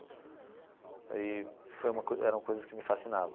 Eee foi uma coisa era uma coisa que me fascinava.